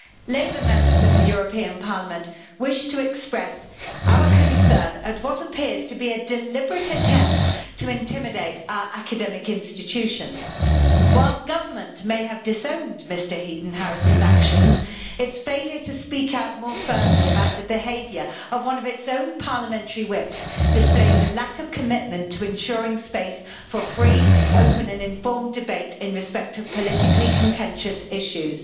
Labour Members of the European Parliament wish to express our concern at what appears to be a deliberate attempt to intimidate academic institutions. While the government may have disowned Mr Heaton Harris's actions, its failure to speak out more firmly about the behaviour of one of its own parliamentary whips displays a lack of commitment to ensuring space for free, open and informed debate in respect of politically contentious issues.